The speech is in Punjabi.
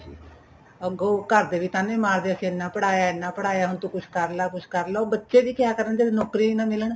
ਅੱਗੋ ਘਰ ਦੇ ਵੀ ਤਾਨੇ ਮਾਰਦੇ ਅਸੀਂ ਇੰਨਾ ਪੜ੍ਹਾਇਆ ਇੰਨਾ ਪੜ੍ਹਾਇਆ ਹੁਣ ਤੂੰ ਕੁੱਝ ਕਰ ਲੈ ਕੁੱਝ ਕਰ ਲੈ ਉਹ ਬੱਚੇ ਵੀ ਕਿਆ ਕਰਨ ਜਦ ਨੋਕਰੀਆਂ ਈ ਨਾ ਮਿਲਣ